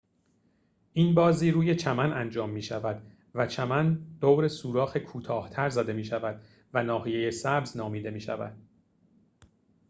این بازی روی چمن انجام می‌شود و چمن دور سوراخ کوتاه‌تر زده می‌شود و ناحیه سبز نامیده می‌شود